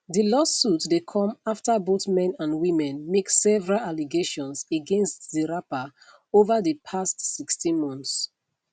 di lawsuit dey come afta both men and women make several allegations against di rapper ova di past 16 months